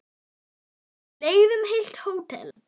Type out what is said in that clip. Kona eða karl?